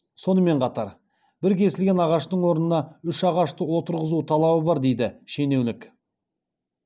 сонымен қатар бір кесілген ағаштың орнына үш ағашты отырғызу талабы бар дейді шенеунік